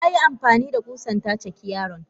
Tayi amfanida kusan ta caki yaron.